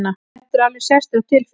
Þetta er alveg sérstök tilfinning!